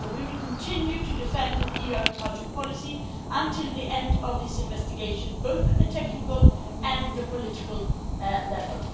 So we will continue to defend EU agricultural policy until the end of this investigation, at both the technical and the political level.